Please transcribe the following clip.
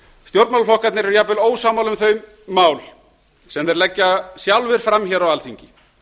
stjórnmálaflokkarnir eru jafnvel ósammála um þau mál sem þeir leggja sjálfir fram hér á alþingi